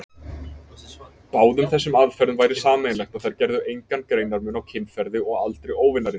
Báðum þessum aðferðum væri sameiginlegt, að þær gerðu engan greinarmun á kynferði og aldri óvinarins.